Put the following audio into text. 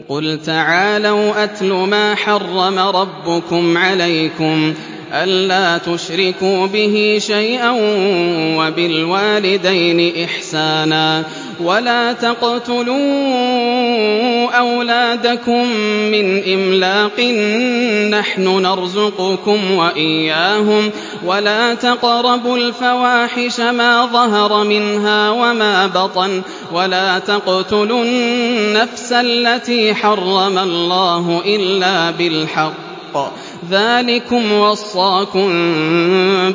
۞ قُلْ تَعَالَوْا أَتْلُ مَا حَرَّمَ رَبُّكُمْ عَلَيْكُمْ ۖ أَلَّا تُشْرِكُوا بِهِ شَيْئًا ۖ وَبِالْوَالِدَيْنِ إِحْسَانًا ۖ وَلَا تَقْتُلُوا أَوْلَادَكُم مِّنْ إِمْلَاقٍ ۖ نَّحْنُ نَرْزُقُكُمْ وَإِيَّاهُمْ ۖ وَلَا تَقْرَبُوا الْفَوَاحِشَ مَا ظَهَرَ مِنْهَا وَمَا بَطَنَ ۖ وَلَا تَقْتُلُوا النَّفْسَ الَّتِي حَرَّمَ اللَّهُ إِلَّا بِالْحَقِّ ۚ ذَٰلِكُمْ وَصَّاكُم